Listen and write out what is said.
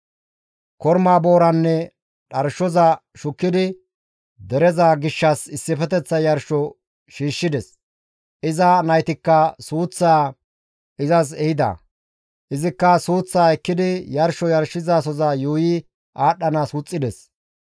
Korma booraanne dharshoza shukkidi dereza gishshas issifeteththa yarsho shiishshides; iza naytikka suuththaa izas ehida; izikka suuththaa ekkidi yarsho yarshizasoza yuuyi aadhdhanaas wuxxides.